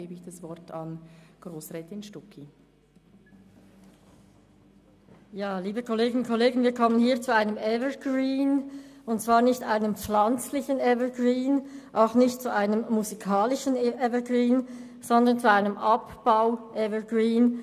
Wir kommen hier zu einem Evergreen, und zwar nicht zu einem pflanzlichen oder musikalischen, sondern zu einem Abbau-Evergreen.